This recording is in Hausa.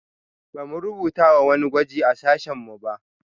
Ba mu rubuta wani gwaji a sashen mu ba